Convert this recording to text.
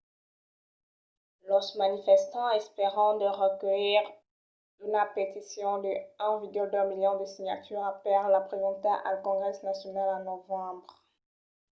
los manifestants espèran de reculhir una peticion de 1,2 milions de signaturas per la presentar al congrès nacional en novembre